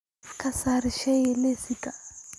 ka saar shay liiska